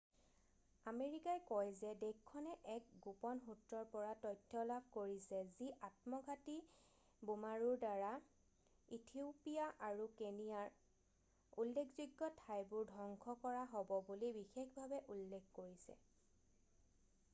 "আমেৰিকাই কয় যে দেশখনে এক গোপন সূত্ৰৰ পৰা তথ্য লাভ কৰিছে যি আত্মঘাতী বোমাৰুৰ দ্বাৰা ইথিওপিয়া আৰু কেনিয়াৰ "উল্লেখযোগ্য ঠাইবোৰ" ধ্বংস কৰা হ'ব বুলি বিশেষভাৱে উল্লেখ কৰিছে। "